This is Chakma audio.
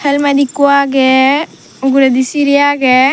jemet ikko agey uguredi sirey agey.